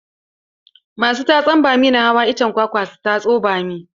Masu tatsan bami na hawa icen kwakwa su tatso bammi.